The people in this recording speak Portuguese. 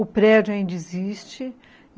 O prédio ainda existe.